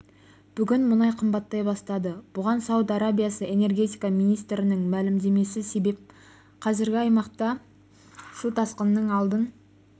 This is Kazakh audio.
бүгін мұнай қымбаттай бастады бұған сауд арабиясы энергетика министрінің мәлімдемесі себеп қазір аймақта су тасқынының алдын